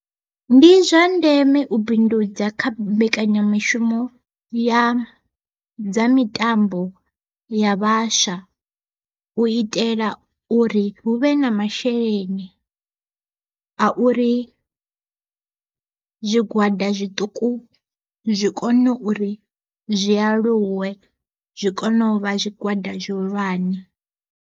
Ndi zwa ndeme u bindudza kha mbekanyamishumo ya dza mitambo ya vhaswa, u itela uri hu vhe na masheleni a uri zwigwada zwiṱuku zwi kone uri zwi aluwe zwi kone u vha zwigwada zwihulwane.